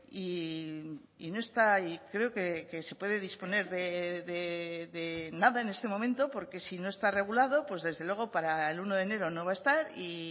y no está y creo que se puede disponer de nada en este momento porque si no está regulado pues desde luego para el uno de enero no va a estar y